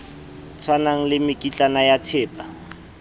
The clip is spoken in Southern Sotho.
tshwanang le mekitlane ya thepa